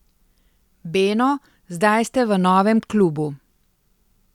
Beno, zdaj ste v novem klubu.